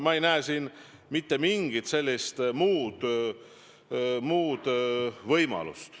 Ma ei näe mitte mingit muud võimalust.